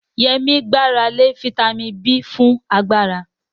Yemi gbára lé fítámìnì B fún agbára.